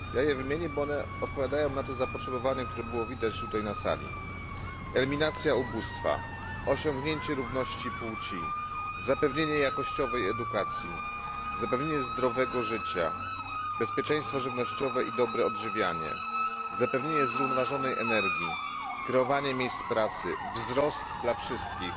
Wymienię je, bo one odpowiadają na to zapotrzebowanie, które było widać tutaj na sali eliminacja ubóstwa, osiągnięcie równości płci, zapewnienie jakościowej edukacji, zapewnienie zdrowego życia, bezpieczeństwo żywnościowe i dobre odżywianie, zapewnienie zrównoważonej energii, tworzenie miejsc pracy, wzrost dla wszystkich,